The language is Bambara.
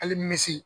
Hali misi